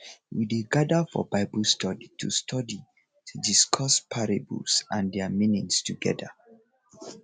we dey gather for bible study to study to discuss parables and their meanings together